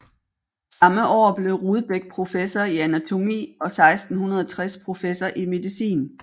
Samme år blev Rudbeck professor i anatomi og 1660 professor i medicin